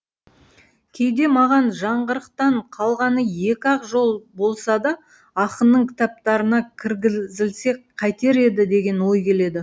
кейде маған жаңғырықтан қалғаны екі ақ жол болса да ақынның кітаптарына кіргізілсе қайтер еді деген ой келеді